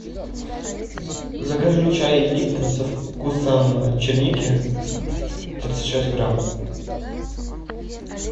закажи чай липтон со вкусом черники тридцать шесть грамм